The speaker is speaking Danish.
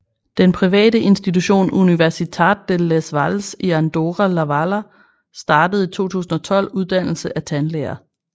Den private institution Universitat de les Valls i Andorra la Vella startet i 2012 uddannelse af tandlæger